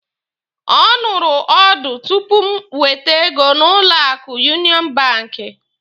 Ọ nụrụ ọdụ tupu m wete ego n'ụlọ akụ Yunịọnụ banki.